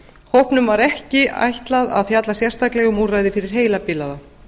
hópnum var ekki ætlað að fjalla sérstaklega um úrræði fyrir heilabilaða